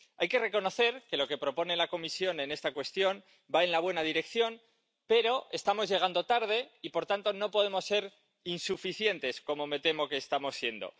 Hay que reconocer que lo que propone la Comisión en esta cuestión va en la buena dirección, pero estamos llegando tarde y, por tanto, no podemos ser insuficientes, como me temo que estamos siendo.